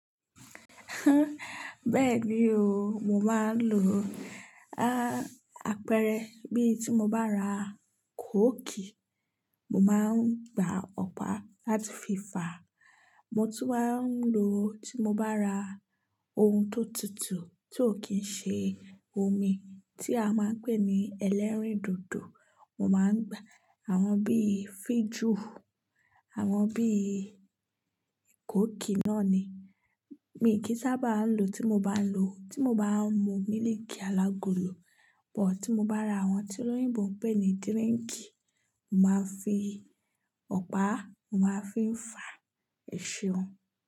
Bẹ́ẹ̀ni o, mo máa ń lo, ah, apẹ̀rẹ̀ bí tí mo bá ra kóòkì, mo máa ń gba ọ̀pá láti fi fàá. Mo tún máa ń lò tí mo bá ra ohun tó tutù tí ò kí ń ṣe omi tí a máa ń pè ní ẹlẹ́rìndòdò, mo máa ń gba àwọn bíi fíjùù, àwọn bíi kóòkì náà ni. Mi kì í sábà á ń lò tí mo bá ń lo, tí mo bá ń mu mílìkì alagolo, but tí mo bá ra àwọn tí olóyìnbó ń pè ní dírínkì, màá fi ọ̀pá, màá fi ń fàá, èṣe wọn.